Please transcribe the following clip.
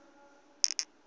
kutjhirhweni